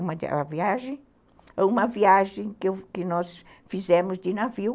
Uma viagem, uma viagem que que nós fizemos de navio.